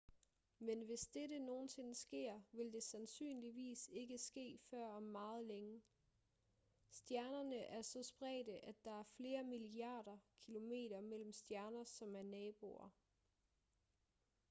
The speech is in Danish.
men hvis dette nogensinde sker vil det sandsynligvis ikke ske før om meget længe stjernerne er så spredte at der er flere milliarder kilometer mellem stjerner som er naboer